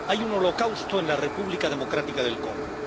Hay un holocausto en la República Democrática del Congo.